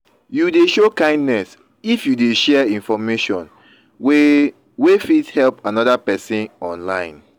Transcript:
you de show kindness if you de share information wey wey fit help another persin online